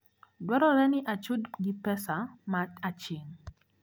Dwarore ni achud gi pesa ma aching`.